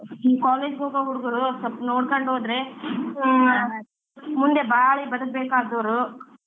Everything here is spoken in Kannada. College ಗ್ ಹೋಗೋ ಹುಡ್ಗ್ರು ಸ್ವಲ್ಪ ನೊಡ್ಕೊಂಡ್ ಹೋದ್ರೆ ಮುಂದೆ ಬಾಳಿ ಬದ್ಕಬೇಕಾದವ್ರು